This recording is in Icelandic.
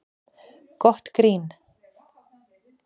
Gott grín